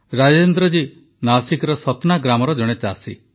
ରାଜେନ୍ଦ୍ରଜୀ ନାସିକର ସତ୍ନା ଗ୍ରାମର ଜଣେ ଚାଷୀ